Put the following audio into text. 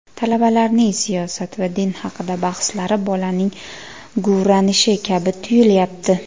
Talabalarning siyosat va din haqida bahslari bolaning guvranishi kabi tuyulyapti.